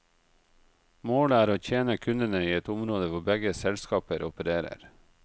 Målet er å tjene kundene i et område hvor begge selskaper opererer.